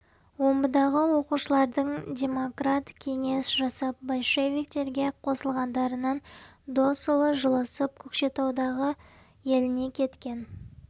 омбыдағы оқушылардың демократ кеңес жасап большевиктерге қосылғандарынан досұлы жылысып көкшетаудағы еліне кеткен